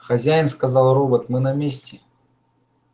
хозяин сказал робот мы на месте